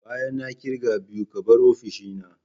Bayan na kirga biyu ka bar ofishina.